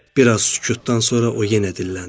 Bir az sükutdan sonra o yenə dilləndi.